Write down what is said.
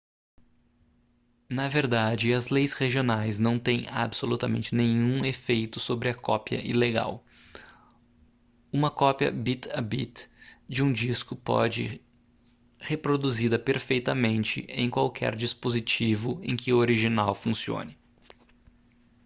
na verdade as leis regionais não têm absolutamente nenhum efeito sobre a cópia ilegal uma cópia bit-a-bit de um disco pode reproduzida perfeitamente em qualquer dispositivo em que o original funcione